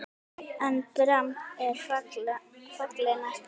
EN DRAMB ER FALLI NÆST!